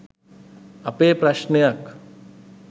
අපේ ප්‍රශ්නයක්.